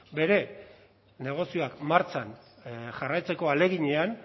bere negozioa martxan jarraitzeko ahaleginean